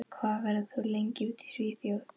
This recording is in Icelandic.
Hvað verður þú lengi úti í Svíþjóð?